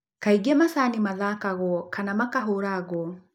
Kaingĩ macani mathakagwo kana makahũragwo.